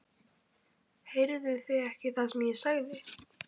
Heyrðu þið ekki hvað ég sagði?